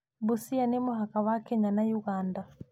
Busia nĩ mũhaka wa Kenya na Uganda.